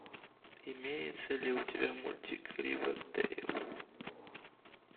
имеется ли у тебя мультик ривердейл